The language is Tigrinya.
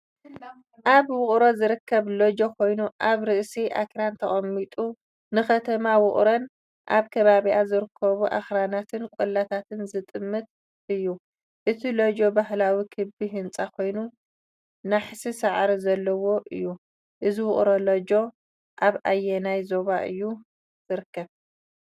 ኣብ ውቕሮ ዝርከብ ሎጅ ኮይኑ፡ ኣብ ርእሲ ኣኽራን ተቐሚጡ ንከተማ ሑክሮን ኣብ ከባቢኣ ዝርከቡ ኣኽራናትን ቆላታትን ዝጥምት እዩ። እቲ ሎጅ ባህላዊ ክቢ ህንጻ ኮይኑ ናሕሲ ሳዕሪ ዘለዎ እዩ። እዚ "ውቕሮ ሎጅ" ኣብ ኣየናይ ዞባ እዩ ዝርከብ?